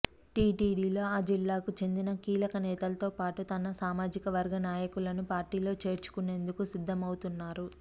టీడీపీలో ఆ జిల్లాకు చెందిన కీలక నేతలతో పాటు తన సామాజిక వర్గ నాయకులను పార్టీలో చేర్చుకునేందుకు సిద్ధమవుతున్నారు